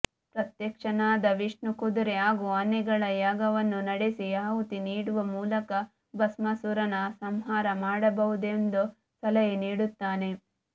ಪ್ರತ್ಯಕ್ಷನಾದ ವಿಷ್ಣು ಕುದುರೆ ಹಾಗೂ ಆನೆಗಳ ಯಾಗವನ್ನು ನಡೆಸಿ ಆಹುತಿ ನೀಡುವ ಮೂಲಕ ಭಸ್ಮಾಸುರನ ಸಂಹಾರ ಮಾಡಬಹುದೆಂದು ಸಲಹೆ ನೀಡುತ್ತಾನೆ